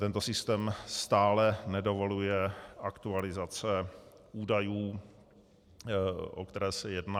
Tento systém stále nedovoluje aktualizace údajů, o které se jedná.